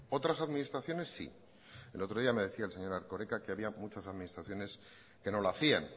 otras administraciones sí el otro día me decía el señor erkoreka que había muchas administraciones que no lo hacían